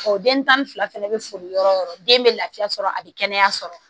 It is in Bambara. den tan ni fila fɛnɛ bɛ furu yɔrɔ o yɔrɔ den bɛ lafiya sɔrɔ a bɛ kɛnɛya sɔrɔ